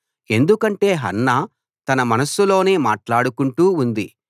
ఎందుకంటే హన్నా తన మనస్సులోనే మాట్లాడుకుంటూ ఉంది